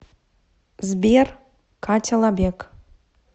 сбер катя лабек